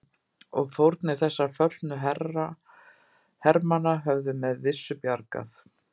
Og fórnir þessara föllnu hermanna höfðu með vissu bjargað